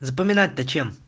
запоминать то чем